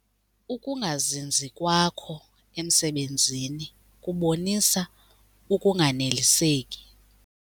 Ukungazinzi kwakho emsebenzini kubonisa ukunganeliseki.